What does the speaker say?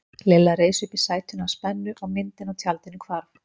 Lilla reis upp í sætinu af spennu og myndin á tjaldinu hvarf.